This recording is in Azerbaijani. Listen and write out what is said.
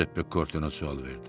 Cüzeppe Korte nə sual verdi.